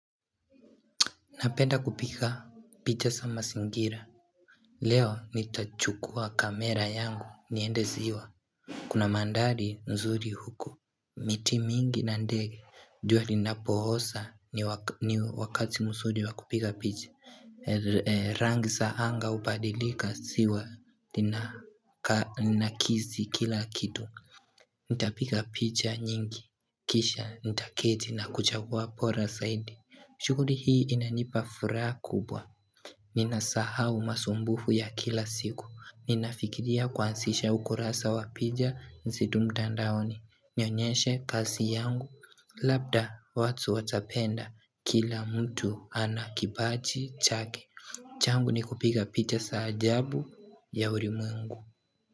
Napenda kupika picha sama singira Leo nitachukua kamera yangu niende ziwa Kuna mandali nzuri huko miti mingi na ndege jua linapohosa ni wakati mzuri wakupiga picha rangi saanga upadilika siwa linakizi kila kitu Nitapiga picha nyingi kisha nitaketi na kuchagua pora saidi Shukuri hii inanipa furaha kubwa Nina sahau masumbufu ya kila siku Ninafikiria kuansisha ukurasa wapija nzidumta ndaoni Nionyeshe kasi yangu Labda watu watapenda kila mtu ana kibachi chake changu ni kupiga picha saajabu ya urimwengu.